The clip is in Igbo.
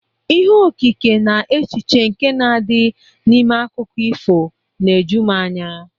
Ihe okike na echiche nke na-adị n'ime akụkọ ifo na-eju m anya.